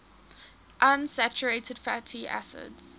unsaturated fatty acids